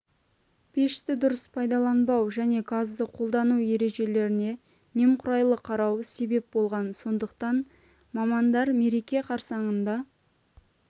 пешті дұрыс пайдаланбау және газды қолдану ережелеріне немқұрайлы қарау себеп болған сондықтан мамандар мереке қарсаңында